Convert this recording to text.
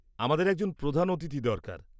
আমাদের একজন প্রধান অতিথি দরকার।